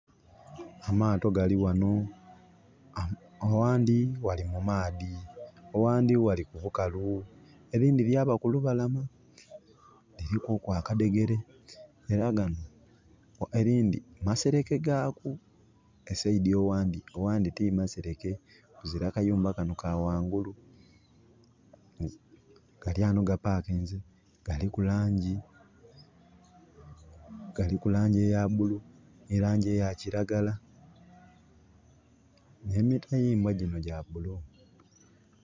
Amaato gali ghanho. Owandhi ghali mu maadhi owandhi ghali ku bukalu erindhi lyaba ku lubalama. Lirikuku akadhegere. Era gano, erindhi masereke gaku, e saidi owandi, owandhi timasereke, kuzira kayumba kano ka wangulu. Gali ghanho ga pakinze, galiku langi eya bulu, nhi langi eya kiragala, nhe mitayimbwa ginho gya bulu.